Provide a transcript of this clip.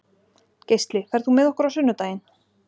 Geisli, ferð þú með okkur á sunnudaginn?